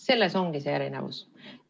See ongi erinevus.